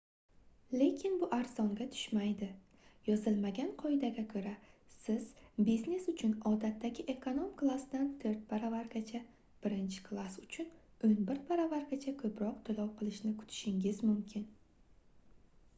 lekin bu arzonga tushmaydi yozilmagan qoidaga koʻra siz biznes uchun odatdagi ekonom klassdan toʻrt baravargacha birinchi klass uchun oʻn bir baravargacha koʻproq toʻlov qilishni kutishingiz mumkin